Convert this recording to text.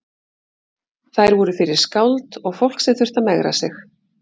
Þær voru fyrir skáld og fólk sem þurfti að megra sig.